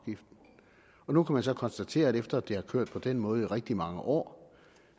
nu kan man så konstatere efter at det har kørt på den måde i rigtig mange år